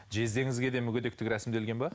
жездеңізге де мүгедектік рәсімделген бе